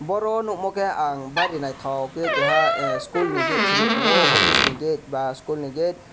boro nukmo khe ang bari naithok khe keha school ni gate se nuktongo office ni gate ba school ni gate.